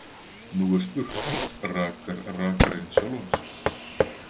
Nú er spurt: Rakar rakarinn sjálfan sig?